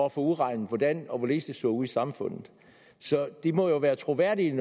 at få udregnet hvordan og hvorledes det ser ud i samfundet så de må jo være troværdige